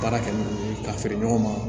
Baara kɛ n'olu ye k'a feere ɲɔgɔn ma